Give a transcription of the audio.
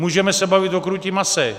Můžeme se bavit o krůtím mase.